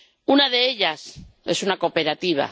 Una de ellas es una cooperativa.